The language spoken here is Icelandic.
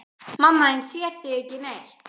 Mamma þín sér þig ekki neitt.